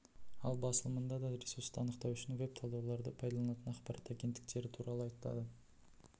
ал басылымында да ресурсты анықтау үшін веб-талдауларды пайдаланатын ақпарат агенттіктері туралы айтады